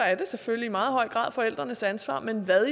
er det selvfølgelig i meget høj grad forældrenes ansvar men hvad